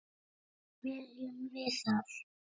Viljum við það?